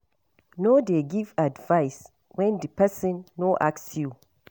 No dey give advice when di person no ask you